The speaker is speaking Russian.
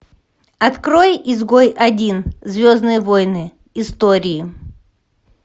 открой изгой один звездные войны истории